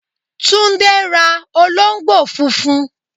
Túndé ra olóńgbò funfun